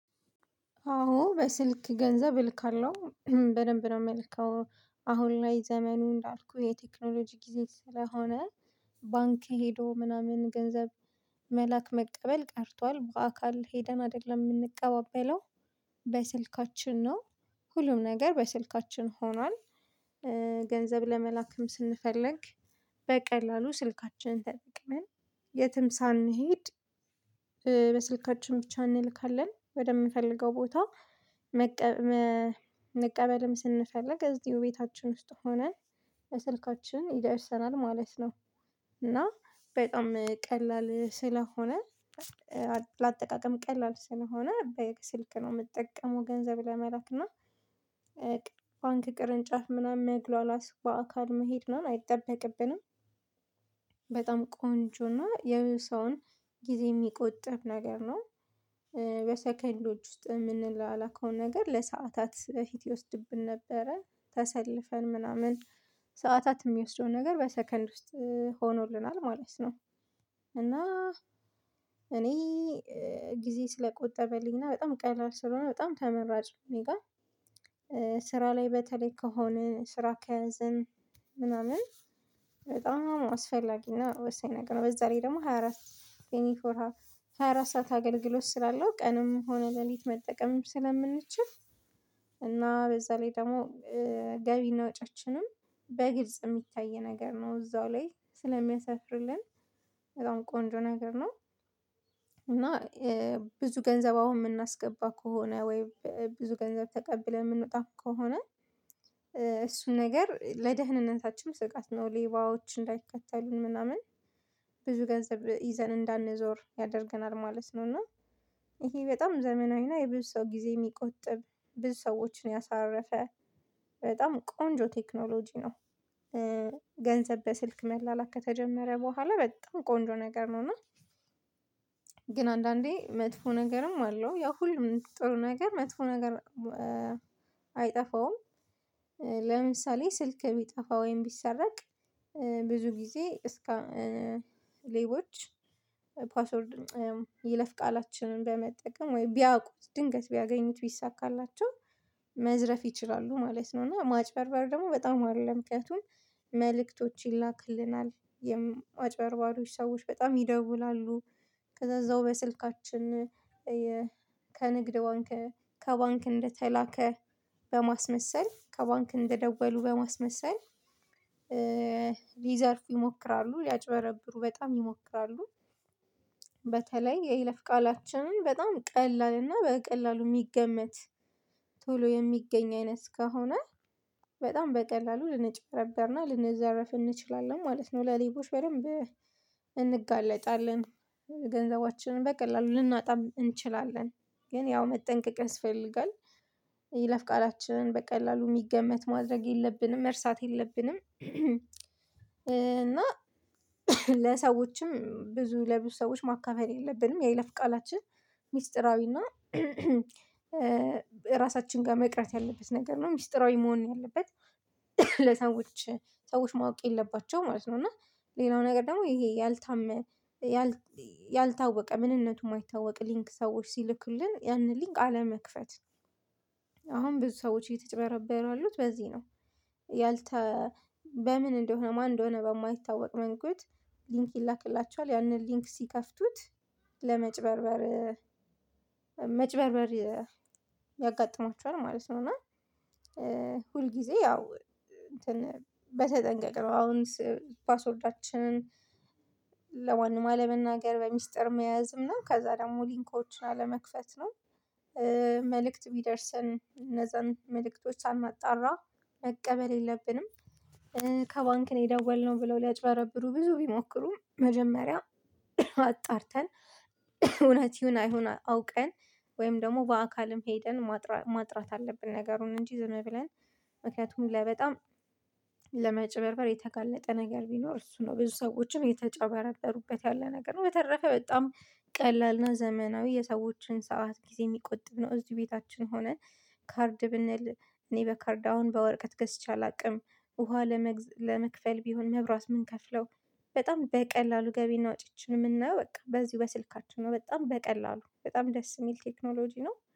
አዎ በስልክ ገንዘብ እልካለሁ በደንብ ነው የምልከው አሁን ላይ ዘመኑ እንዳልኩህ የቴክኖሎጂ ጊዜ ስለሆነ። ባንክ ሄዶ ምናምን ገንዘብ መላክ መቀበል ቀርቷል በአካል ሄደን አይደለም የምንቀባበለው በስልካችን ነው ሁሉም ነገር በስልካችን ሆኗል። ገንዘብ ለመላክም ስንፈልግ በቀላሉ ስልካችንን ተጠቅመን የትም ሳንሄድ በስልካችን ብቻ እንልካለን ወደምንፈልገው ቦታ መቀበልም ስንፈልግ እዚሁ ቤታችን ውስጥ ሆነን በስልካችን ይደርሰናል ማለት ነው። እና በጣም ቀላል ስለሆነ። ለአጠቃቀም ቀላል ስለሆነ ስልክ ነው የምጠቀመው ገንዘብ ለመላክና ባንክ ቅርንጫፍ ምናምን መግሏላት በአካል መሄድ ምናምን አይጠበቅብንም። በጣም ቆንጆና የብዙ ሰውን ጊዜ የሚቆጥብ ነገር ነው። በሰከንዶች ውስጥ የምንላላከው ነገር ለሰአታት በፊት ይወስድብን ነበረ ተሰልፈን ምናምን ሰዓታት የሚወስደውን ነገር በሰከንድ ውስጥ ሆኖልናል ማለት ነው። እና እኔ ጊዜ ስለቆጠበልኝ እና በጣም ቀላል ስለሆነ በጣም ተመራጭ እኔ ጋር። ስራ ላይ በተለይ ከሆነ ስራ ከያዘን ምናምን በጣም አስፈላጊና ወሳኝ ነገር ነው። በዛ ላይ ደግሞ ሃያ አራት ትዌንትይ ፎር ሃወር ሃያ አራት ሰዓት አገልግሎት ስላለው ቀንም ሆነ ሌሊት መጠቀምም ስለምንችል። እና በዛ ላይ ደግሞ ገቢና ወጪያችንም በግልጽ የሚታይ ነገር ነው እዛው ላይ ስለሚያሰፍርልን በጣም ቆንጆ ነገር ነው። እና ብዙ ገንዘብ አሁን የምናስገባ ከሆነ ወይ ብዙ ገንዘብ ተቀብለን የምንወጣ ከሆነ እሱን ነገር ለደህንነታችን ስጋት ነው። ሌባዎች እንዳይከተሉን ምናምን ብዙ ገንዘብ ይዘን እንዳንዞር ያደርገናል ማለት ነው። እና ይሄ በጣም ዘመናዊ እና የብዙ ሰው ጊዜ የሚቆጥብ ብዙ ሰዎችን ያሳረፈ በጣም ቆንጆ ቴክኖሎጂ ነው። ገንዘብ በስልክ መላላክ ከተጀመረ በኋላ በጣም ቆንጆ ነገር ነው። እና ግን አንዳንዴ መጥፎ ነገርም አለው ያ ሁሉም ጥሩ ነገር መጥፎ ነገር አይጠፋውም። ለምሳሌ ስልክ ቢጠፋ ወይም ቢሰረቅ ብዙ ጊዜ እስከ ሌቦች ፓስወርድ የይለፍ ቃላችንን በመጠቀም ወይ ቢያውቁት ድንገት ቢያገኙት ቢሳካላቸው መዝረፍ ይችላሉ ማለት ነው። እና ማጭበርበር ደግሞ በጣም አለ ምክንያቱም መልእክቶች ይላክልናል የአጭበርባሪዎች ሰዎች በጣም ይደውላሉ ከዛ እዛው በስልካችን ከንግድ ባንክ ከባንክ እንደተላከ በማስመሰል ከባንክ እንደደወሉ በማስመሰል ሊዘርፉ ይሞክራሉ ሊያጭበረብሩ በጣም ይሞክራሉ። በተለይ የይለፍ ቃላችንን በጣም ቀላል እና በቀላሉ የሚገመት ቶሎ የሚገኝ አይነት ከሆነ በጣም በቀላሉ ልንጨረበርና ልንዘረፍ እንችላለን ማለት ነው። ለሌቦች በደንብ እንጋለጣለን ገንዘባችንን በቀላሉ ልናጣም እንችላለን ግን ያው መጠንቀቅ ያስፈልጋል። የይለፍ ቃላችንን በቀላሉ የሚገመት ማድረግ የለብንም መርሳት የለብንም። እና ለሰዎችም ብዙ ለብዙ ሰዎች ማካፈል የለብንም። የይለፍ ቃላችን ሚስጥራዊና ራሳችን ጋር መቅረት ያለበት ነገር ነው ሚስጢራዊ መሆን ነው ያለበት ለሰዎች ሰዎች ማወቅ የለባቸውም ማለት ነው። እና ሌላው ነገር ደግሞ ይሄ ያልታመ ያልታወቀ ምንነቱ የማይታወቅ ሊንክ ሰዎች ሲልኩልን ያንን ሊንክ አለመክፈት አሁን ብዙ ሰዎች እየተጭበረበሩ ያሉት በዚህ ነው። ያልተ በምን እንደሆነ ማን እንደሆነ በማይታወቅ መንገድ ሊንክ ይላክላቸዋል ያንን ሊንክ ሲከፍቱት ለመጭበርበር መጭበርበር ያጋጥማቸዋል ማለት ነው። እና ሁል ጊዜ ያው እንትን በተጠንቀቅ ነው አሁን ፓስወርዳችንን ለማንም አለመናገር በሚስጥር መያዝ እና ከዛ ደግሞ ሊንኮችን አለመክፈት ነው። መልእክት ቢደርስን እነዛን መልእክቶች ሳናጣራ መቀበል የለብንም። ከባንክ ነው የደወልነው ብለው ሊያጭበረብሩ ብዙ ቢሞክሩ መጀመሪያ አጣርተን እውነት ይሁን አይሁን አውቀን ወይም ደግሞ በአካልም ሄደን ማጥራት አለብን። ነገሩን እንጂ ዝም ብለን ምክንያቱም ላይ በጣም ለመጭበርበር የተጋለጠ ነገር ቢኖር እሱ ነው ብዙ ሰዎችም የተጨበርበሩበት ያለ ነገር ነው። በተረፈ በጣም ቀላል ነው ዘመናዊ የሰዎችን ሰዓት ጊዜ የሚቆጥብ ነው። እዚህ ቤታችን ሆነን ካርድ ብንል እኔ በካርድ አሁን በወረቀት ገዝቼ አላውቅም ውሃ ለመክፈል ቢሆን መብራት የምንከፍለው በጣም በቀላሉ ገቢና ወጪአችን የምናየው በቃ በዚሁ በስልካችን ነው በጣም በቀላሉ በጣም ደስ የሚል ቴክኖሎጂ ነው